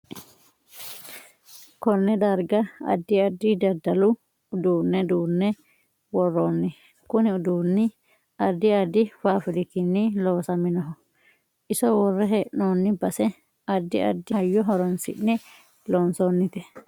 Konne darga addi addi daddalu uduune duune worooni kuni uduuni addi addi fafaafirikkini loosaminoho iso worre heenooni base addi addi hayyo horoonsine loonsoonite